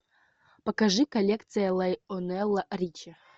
покажи коллекция лайонела ричи